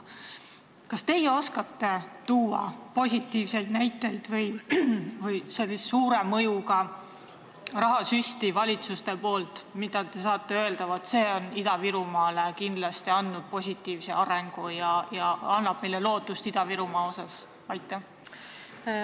Kas teie oskate tuua positiivseid näiteid valitsuste suure mõjuga rahasüstide kohta, nii et te saaksite öelda, et see on Ida-Virumaale kindlasti toonud positiivset arengut ja annab meile Ida-Virumaa asjus lootust?